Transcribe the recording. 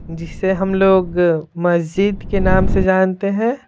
जिसे हम लोग मस्जिद के नाम से जानते हैं।